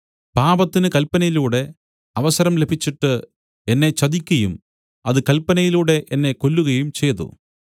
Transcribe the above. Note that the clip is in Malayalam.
പാപത്തിന് കല്പനയിലൂടെ അവസരം ലഭിച്ചിട്ട് എന്നെ ചതിക്കയും അത് കൽപ്പനയിലൂടെ എന്നെ കൊല്ലുകയും ചെയ്തു